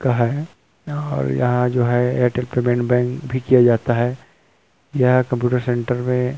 का है और यहाँ जो है एयरटेल पेमेंट बैंक भी किया जाता है यहाँ कम्प्यूटर सेंटर में--